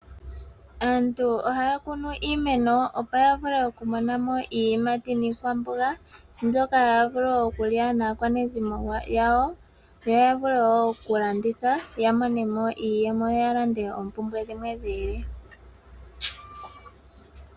Aantu ohaya kunu iimeno opo ya vule okumonamo iiyimati niikwamboga mbyoka haya vulu okulya naakwanezimo yawo yo ya vule wo okulanditha ya monemo iiyemo ya lande oompumbwe dhimwe dhiili.